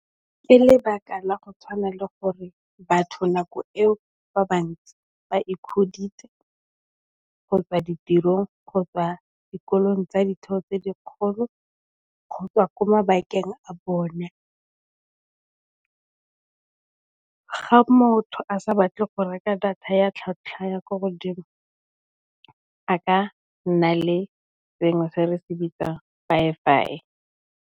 Ke lebaka la go tshwana le gore batho nako eo ba bantsi ba kgotsa ditirong, kgotsa dikolong tsa ditho tse dikgolo, kgotsa kwa mabakeng a bone. Ga motho a sa batle go reka data ya tlhatlhwa ya ko godimo a ka nna le sengwe se re se bitsang fibre.